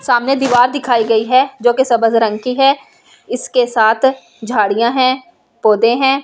सामने दीवार दिखाई गई है जो के सबस रंग की है इसके साथ झाडि़यां है पौधे हैं दीवार --